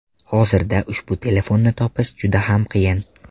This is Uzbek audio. Hozirda ushbu telefonni topish juda ham qiyin.